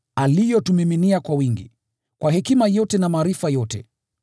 aliyotumiminia kwa wingi, kwa hekima yote na maarifa yote.